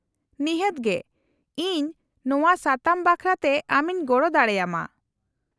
-ᱱᱤᱦᱟᱹᱛ ᱜᱮ, ᱤᱧ ᱱᱚᱶᱟ ᱥᱟᱛᱟᱢ ᱵᱟᱠᱷᱨᱟ ᱛᱮ ᱟᱢᱤᱧ ᱜᱚᱲᱚ ᱫᱟᱲᱮ ᱟᱢᱟ ᱾